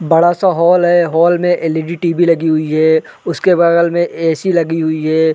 बड़ा सा हॉल है हॉल में एलइडी टीवी लगी हुई है उसके बगल में ए सी लगी हुई है।